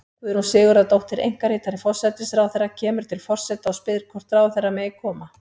Guðrún Sigurðardóttir, einkaritari forsætisráðherra, kemur til forseta og spyr hvort ráðherra megi koma.